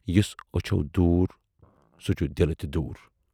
یُس ٲچھِو دوٗر سُہ چھُ دِلہٕ تہِ دوٗر۔